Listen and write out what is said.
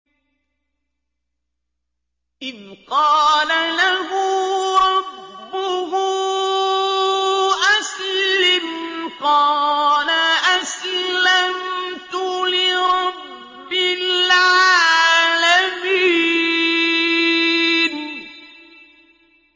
إِذْ قَالَ لَهُ رَبُّهُ أَسْلِمْ ۖ قَالَ أَسْلَمْتُ لِرَبِّ الْعَالَمِينَ